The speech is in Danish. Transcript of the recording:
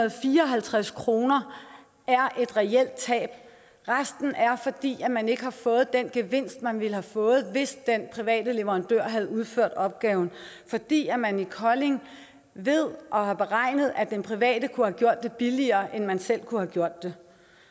og fireoghalvtreds kroner er et reelt tab resten er fordi man ikke har fået den gevinst man ville have fået hvis den private leverandør havde udført opgaven fordi man i kolding ved og har beregnet at den private kunne have gjort det billigere end man selv kunne have gjort det